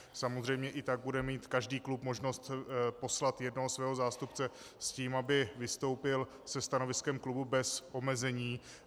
Samozřejmě i tak bude mít každý klub možnost poslat jednoho svého zástupce s tím, aby vystoupil se stanoviskem klubu bez omezení.